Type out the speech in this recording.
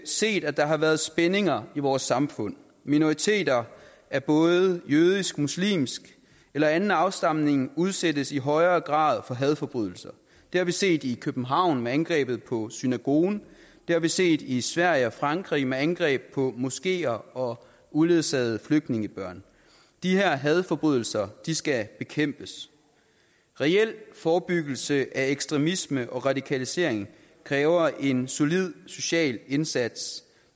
set at der har været spændinger i vores samfund minoriteter af både jødisk muslimsk eller anden afstamning udsættes i højere grad for hadforbrydelser det har vi set i københavn med angrebet på synagogen det har vi set i sverige og frankrig med angreb på moskeer og uledsagede flygtningebørn de her hadforbrydelser skal bekæmpes reel forebyggelse af ekstremisme og radikalisering kræver en solid social indsats